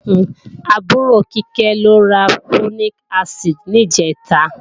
Àbúrò Kíkẹ́ lọ ra Folic acid ní ìjẹ̀ta